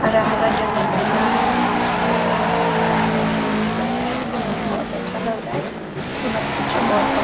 हरा-हरा जगह पर खड़ा है बहुत सुंदर जगह पर खड़ा है बहुत बढ़िया लग रहा है देखने में बहुत अच्छा लग रहा है मत पूछिए बहुत ब --